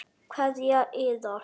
Kveðja Iða.